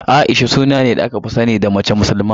A'isha suna ne da aka fi sani da mace musulma.